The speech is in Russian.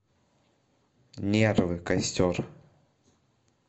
нервы костер